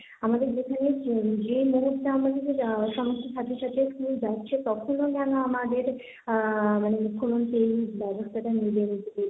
আমাদের যেখানে যে মুহূর্তে আমাদের সমস্ত ছাত্রছাত্রী স্কুল যাচ্ছে তখনও যেন আমাদের আহ মানে মুখ্যমন্ত্রী ব্যবস্থাটা